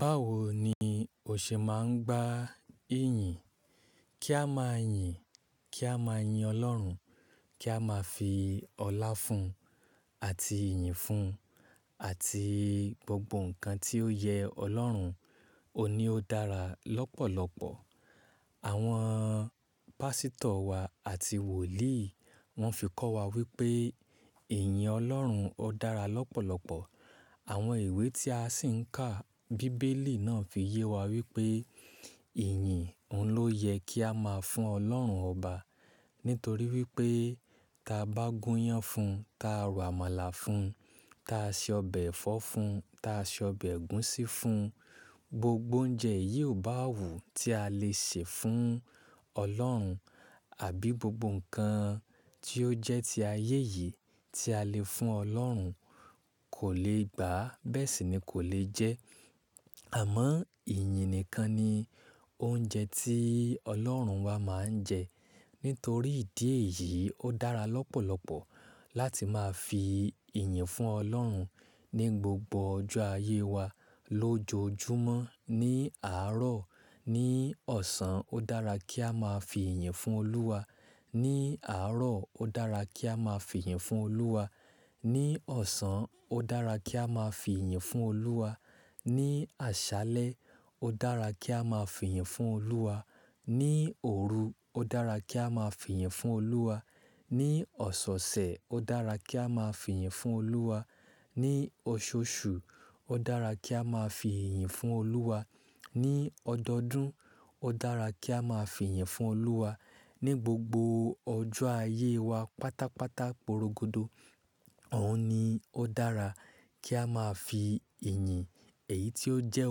Báwo ni o ṣe máa ń gba iyìn? Kí a máa yìn, kí a máa yin Ọlọ́run, kí a máa fi ọlá fún un àti iyìn fún un àti gbogbo nǹkan tí ó yẹ Ọlọ́run, òní ó dára lọ́pọ̀lọpọ̀. Àwọn pásítọ̀ wa àti wòlíì wọ́n fi kọ́ wa wípé iyìn Ọlọ́run ó dára lọ́pọ̀lọpọ̀. Àwọn ìwé tí a sì ń kà, bíbélì náà fi yé wa wípé iyìn, òun ló yẹ kí a máa fún Ọlọ́run ọba nítorí wípé tí a bá gún iyán fún un, tí a rọ àmàlà fún un, tí a ṣe ọbẹ̀ ẹ̀fọ́ fún un, tí a se ọbẹ̀ ẹ̀gúsí fún un, gbogbo oúnjẹ yìí ò bá wù tí a le ṣe fún Ọlọ́run àbí gbogbo nǹkan tí ó jẹ́ ti ayé yìí tí a le fún Ọlọ́run kò lè gbà á, bẹ́ẹ̀ sì ni kò lè jẹ ẹ́. Àmọ́ iyìn nìkan ni oúnjẹ tí Ọlọ́run wa máa ń jẹ. Nítorí ìdí èyí, ó dára lọ́pọ̀lọpọ̀ láti máa fi ẹ̀yìn fún Ọlọ́run ní gbogbo ọjọ́ ayé wa lójoojúmọ́. Ní àárọ̀, ní ọ̀sán, ó dára kí a máa fi iyìn fún Olúwa. Ní àárọ̀, ó dára kí a máa fi ẹ̀yìn fún Olúwa. Ní ọ̀sán, ó dára kí a máa fi ẹ̀yìn fún Olúwa. Ní àṣálẹ́, ó dára kí a máa fi ẹ̀yìn fún Olúwa. Ní òru, ó dára kí a máa fi ẹ̀yìn fún Olúwa. Ní ọ̀sẹ̀ẹ̀sẹ̀, ó dára kí a máa fi iyìn fún Olúwa. Ní ọṣọ́ọṣù, ó dára kí a máa fi iyìn fún Olúwa. Ní ọdọọdún, ó dára kí a máa fi ẹ̀yìn fún Olúwa. Ní gbogbo ọjọ́ ayé wa pátápátá porogodo, òun ni ó dára kí a máa fi iyìn, èyí tí ó jẹ́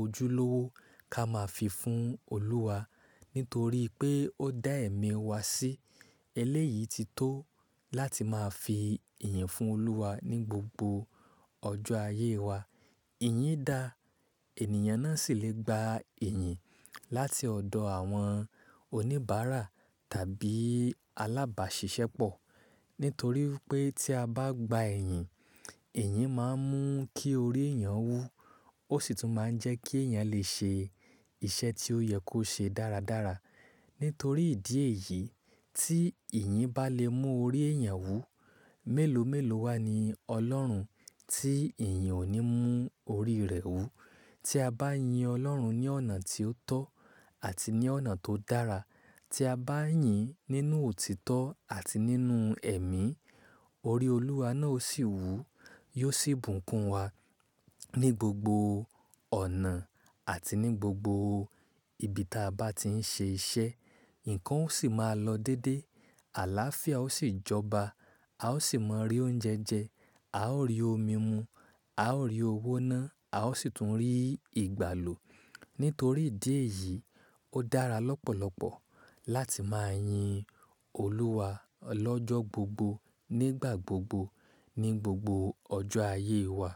ojúlówó ká máa fi fún Olúwa nítorí pé ó dá ẹ̀mí wa sí. Eléyìí ti tó láti máa fi iyìn fún Olúwa ní gbogbo ọjọ́ ayé wa. Iyìn da, ènìyàn náà sì lè gba iyìn láti ọ̀dọ̀ àwọn oníbàárà tàbí alábàáṣiṣẹ́ pọ̀. Nítorí wipé tí a bá gba iyìn, iyìn máa ń mú kí orí èèyàn wú, ó sì tún máa ń jẹ kí èèyàn lè ṣe iṣẹ́ tí ó yẹ kó ṣe dáradára. Nítorí ìdí èyí, tí iyìn bá lè mú orí èèyàn wú, mélòó mélòó wa ni Ọlọ́run tí iyìn ò ní mú orí rẹ̀ wú? Tí a bá yin Ọlọ́run ní ọ̀nà tí ó tọ́ àti ní ọ̀nà tó dára, tí a bá yìn nínú òtítọ́ àti nínú ẹ̀mí, orí Olúwa náà ó sì wú, yóò sì bùnkún wa ní gbogbo ọ̀nà àti ní gbogbo ibi tí a bá ti ń ṣe iṣẹ́, nǹkan ó sì máa lọ dédé, àlááfíà ó sì jọba, a ó sì mọ rí oúnjẹ jẹ, a ó rí omi mu, a ó rí owó ná, a ó sì tún rí ìgbàlò. Nítorí ìdí èyí, ó dára lọ́pọ̀lọpọ̀ láti máa yin Olúwa lọ́jọ́ gbogbo, nígbà gbogbo, ní gbogbo ọjọ́ ayé wa.